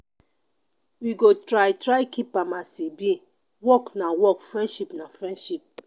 we go try try keep am as e be work na work friendship na friendship.